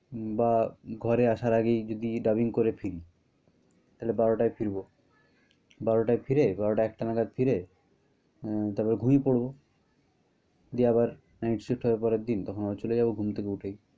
বা ঘরে আসার আগেই যদি dubbing করে ফিরি, তাহলে বারোটায় ফিরবো। বারোটায় ফিরে, বারোটা একটা নাগাদ ফিরে আহ তারপর ঘুমিয়ে পড়বো। গিয়ে আবার night shift হবে পরের দিন তখন আবার চলে যাবো ঘুম থেকে উঠেই।